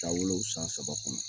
Taa wolo u san saba kɔnɔ.